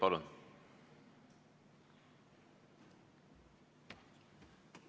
Palun!